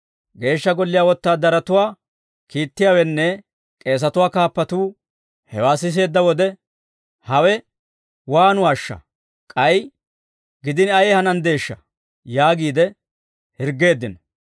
Geeshsha Golliyaa wotaadaratuwaa kiittiyaawenne k'eesatuwaa kaappatuu hewaa siseedda wode, «Hawe waanuwaashsha? K'ay gidini ayee hananddeeshsha?» yaagiide hirggeeddino.